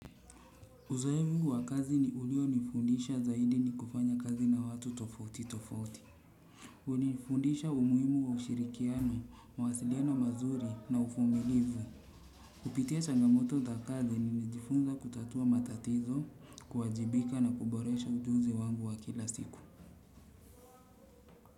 Uzoefu wa kazi ulionifundisha zaidi ni kufanya kazi na watu tofauti tofauti. Ulinifundisha umuhimu wa ushirikiano, mawasiliano mazuri na uvumilivu. Kupitia changamoto za kazi nilijifunza kutatua matatizo kuwajibika na kuboresha ujuzi wangu wa kila siku.